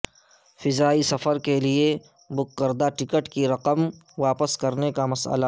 فضائی سفر کیلئے بک کردہ ٹکٹ کی رقم واپس کرنے کا مسئلہ